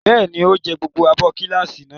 Bẹ́ẹ̀ ni, ó jẹ gbogbo abọ́ kíllìṣi náà.